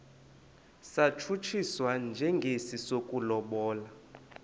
satshutshiswa njengesi sokulobola